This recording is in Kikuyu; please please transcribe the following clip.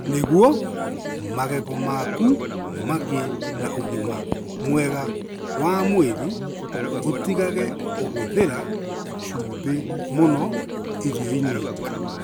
Nĩguo magego maku magĩe na ũgima mwega wa mwĩrĩ, ũtigaga kũhũthĩra cumbĩ mũno irio-inĩ.